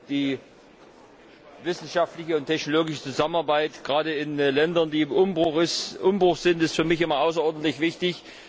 Die wissenschaftliche und technologische Zusammenarbeit, gerade in den Ländern, die im Umbruch sind, ist für mich immer außerordentlich wichtig.